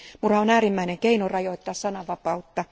Murha on äärimmäinen keino rajoittaa sananvapautta.